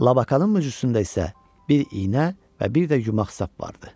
Labakanın möcüsündə isə bir iynə və bir də yumax sap vardı.